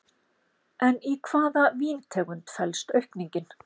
En í hvaða víntegund felst aukningin?